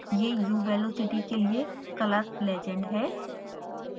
यह u velocity के लिए color legend है